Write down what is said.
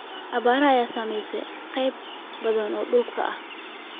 Abaarta ayaa saameysay qeybo badan oo dalka ah.